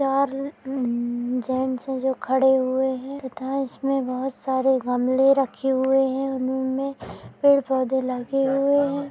चार उम जेंट्स है जो खड़े हुए हैं तथा इसमें बोहोत सारे गमले रखे हुए हैं। उनोमे पेड़-पौधे लगे हुए है।